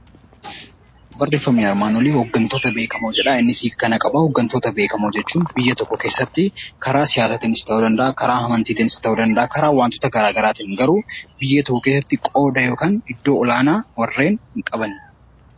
Hooggantoota beekamoo jechuun biyya tokko keessatti karaa siyaasaatiinis ta'uu danda'a karaa amantii ta'uu danda'a karaa wantoota garaagaraa ta'uu danda'a garuu biyya tokko keessatti qooda yookaan iddoo olaanaa warreen qaban